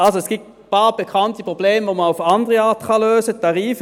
Also: Es gibt ein paar bekannte Probleme, die man auf andere Art lösen kann.